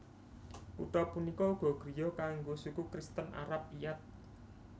Kutha punika uga griya kanggo suku Kristen Arab Iyad